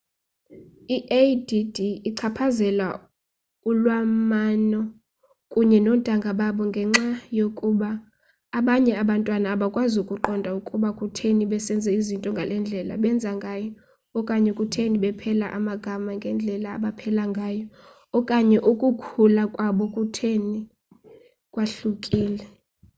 i-add ichaphazela ulwalamano kunye noontanga babo ngenxa yokuba abanye abantwana abakwazi ukuqonda ukuba kutheni besenza izinto ngale ndlela benza ngayo okanye kutheni bepela amagama ngendlela abapela ngayo okanye ukukhula kwabo kutheni kwahlukile